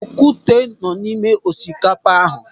Okwute nọ n'ime osikapa ahu.